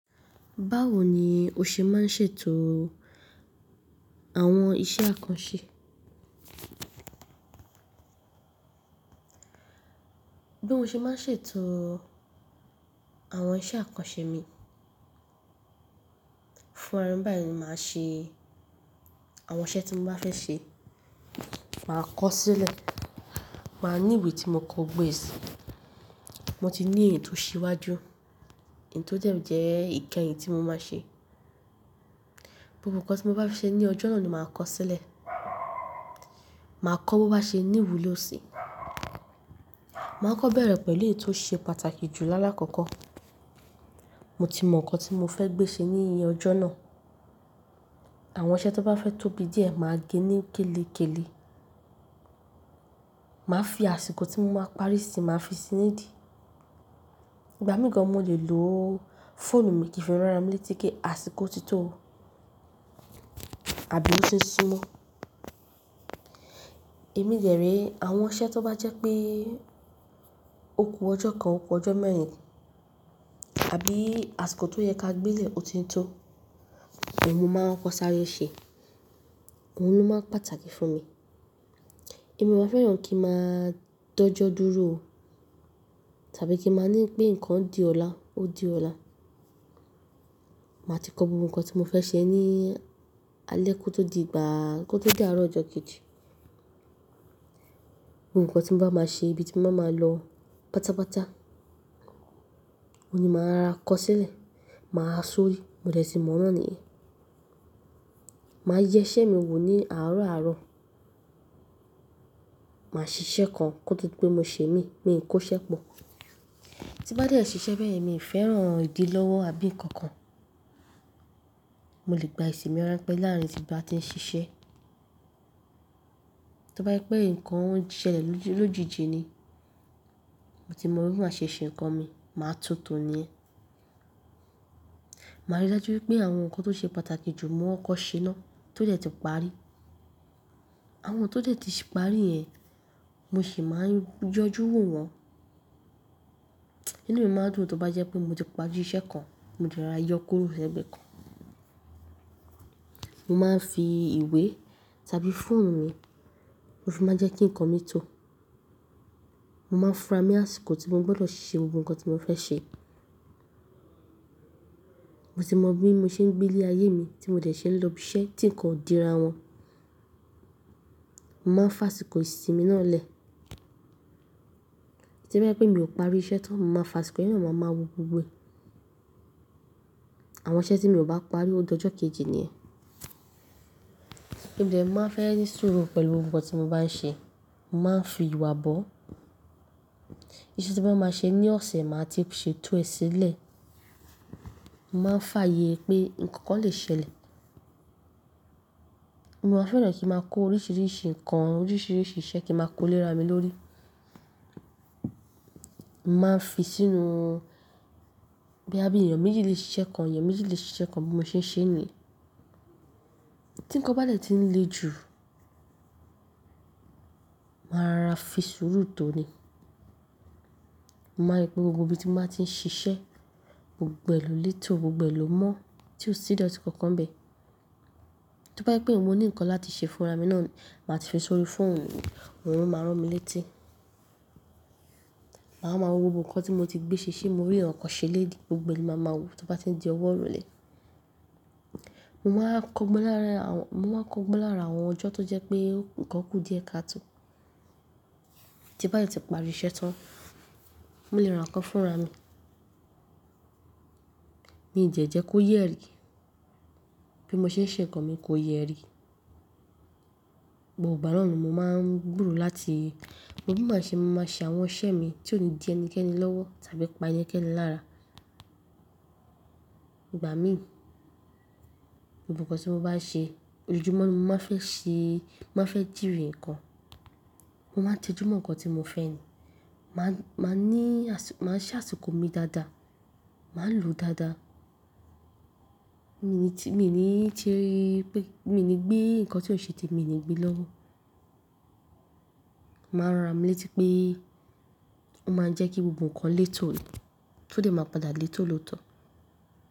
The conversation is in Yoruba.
Báwo ni o ṣe máa ń ṣètò àwọn iṣẹ́ àkànṣe? Bí mo ṣe máa ń ṣètò àwọn iṣẹ́ àkànṣe mi, fún ara mi báyìí ni màá ṣe àwọn iṣẹ́ tí mo bá fẹ́ ṣe. Màá kọ sílẹ̀, màá ní ìwé tí mo kọ gbogbo e si, mo ti ní ètò síwájú, èyi tò de jẹ́ ìkẹyìn tí mo máa ṣe. Gbogbo ǹkan tí mo bá fẹ́ ṣe ní ọjọ́ náà ni màá kọ sílẹ̀. Màá kọ bó bá ṣe ní ìwúlò sí. Màá kọ beẹ̀rẹ̀ pẹ̀lú èyí tó ṣe pàtàkì jù lá lákọ̀ko. Mo ti mọ ǹkan tí mo fẹ́ gbé ṣe ní ìyẹ ọjọ́ náà. Àwọn iṣẹ́ tó bá fẹ́ tóbi díẹ̀ màá gé ní kéle kéle. Màá fi àsìkò tí mo máa parí sí máa fi sí nì idí. Ìgbà mìí gan mo lè lo fóònù mi kí n fi rán ara mi létí pé àsìkò ti tó àbí se ó ti súmọ́. Èmi de re àwọn iṣẹ́ tó bá jẹ́ pé oku ọjọ́ kan, oku ọjọ́ mẹ́rin àbí àsìkò tó yẹ ká gbelẹ̀ ó ti ń tó, iyen mo máa ń kọ sáré ṣe. Òhun ni ó máa ń pàtàkì fún mi. Èmi máa n fẹ́ràn kí màá dọ́jọ́ dúró tàbí kí màá ní pé ǹkan di ọ̀la, ó di ọ̀la. Màá ti kọ gbogbo ǹkan tí mo fẹ́ ṣe ní alẹ́ kó tó di ìgbà kó tó di àárọ̀ ọjọ́ kejì. Ohun ǹkan tí mo bá máa ṣe, ibi tí mo bá máa lọ pátápátá, òun ni màá ra kọ sílẹ̀, màá ha sórí, mo dẹ̀ tí mọ̀ niyen. Màá yẹ iṣẹ́ mi wò ní àárọ̀ àárọ̀. Màá ṣiṣẹ́ kan kó tó di pé mo ṣe mií, mii kò ṣẹ́ pọ̀. Tí bá dẹ́ ẹ ṣiṣẹ́ bẹ́ẹ̀ yẹn mi ò fẹ́ràn ìdí lọ́wọ́ àbí ǹkan kan. Mo lè gba èsì mi rán pẹ́ larin ti n ba ti n sise Máa rí i dájú pé àwọn nǹkan tó ṣe pàtàkì jù ni mo kọ́kọ́ ṣe ná, tó de ti parí, àwọn tó de ti parí yẹn Mo máa ń fi ìwé tàbí fóònù mi, mo fi máa ń jẹ́ kí nǹkan mi tò Ma n ni asiko ti mo gbodo se gbogbo nnkan ti mo fe se, mo ti mọ bí mo ṣe ń gbé lé ayé mi tí mo dẹ̀ ṣe n lọ ibi iṣẹ́ tí ǹnkan ò dira wọn. Mo máa ń fi àsìkò ìsìnmi náà lẹ̀. Tí o bá jẹ́ pé mi ò parí iṣẹ́ tan mo ma fi àsìkò, inu mi a máa wo gbogbo è. Àwọn iṣẹ́ tí mi o bá parí ó di ọjọ́ kejì ni iyen. Mo de máa fẹ́ ní sùúrù pẹ̀lú ohun nnkan tí mo bá ń ṣe. Mo máa ń fi ìwà bọ́. Iṣẹ́ tí mo bá máa ṣe ní ọ̀sẹ̀ màá ti ṣe ètò ẹ sílẹ̀. Mo máa ń fààyè pé ǹnkan kan lè ṣẹlẹ̀. Mo máa fẹ́ràn kí màá kó oríṣiríṣi ǹkan, oríṣiríṣi iṣẹ́ kí màá kó lé ara mi lórí. Mo máa ń fi sínú bí a bí èeyan méjì lè ṣe iṣẹ́ kan, èèyàn méjì lè ṣe iṣẹ́ kan bí mo ṣe ń ṣe ni. Tí ǹnkan bá dè tí ń le jù, màá ra fi sùúrù tó ni. Mo maa n ri pé gbogbo ibi tí mo bá ti ń ṣiṣẹ́, gbogbo èlò létò, gbogbo èlò mọ́ tí ó sì dọ̀tí kankan n bẹ́ẹ̀. Tí o bá jẹ́ pé mo ní ǹnkan láti ṣe fún ara mi náà màá ti fi sórí fóònù mi, òun lo máa rán mi létí. Màá máa wo gbogbo ǹnkan tí mo ti gbé ṣe ṣe mo rí ǹnkan ṣe l'eni, gbogbo eni máa ma wò tó bá ti ń di ọwọ́ òrolé. Mo máa ń kọ́ ogbón láàra àwọn ọjọ́ tó jẹ́ pé ǹnkan kú díẹ̀ ká tó. Tí bá yi tí parí iṣẹ́ tán, mo lè rá ǹnkan fún ara mi. Mi jẹ̀ jẹ́ kó yẹ́ rí, bí mo ṣe ń ṣe ǹnkan mi kó yẹ́ rí. Gbogbo Ìgbà na ni mo máa ń gbúrò láti mo bí màá ṣe máa ṣe àwọn iṣẹ́ mi tí ò ní dí ẹni kẹ́ni lọ́wọ́ tàbí pa eni kẹ́ni lára. Ìgbà mií, gbogbo ǹnkan tí mo bá ṣe, ojoojúmọ́ ni mo máa fẹ́ ṣe, màá fẹ́ jìnrìn ǹnkan. Mo máa ń tẹjúmọ́ ǹnkan tí mo fẹ́ ni. Màá ń ní, màá ń ṣe àsìkò mi dáadáa. Màá lo o dáadáa. Mi ni tí, mi ni tí pé, mi ni gbé nǹkan tí ó ṣe tèmi mi ni gbé lọ́wọ́. Màá ràn ara mi létí pé ó máa ń jẹ́ kí gbogbo ǹnkan létò ni, tó dẹ̀ máa padà létò lóòótọ́.